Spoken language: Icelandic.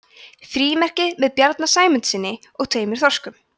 frímerki með bjarna sæmundssyni og tveimur þorskum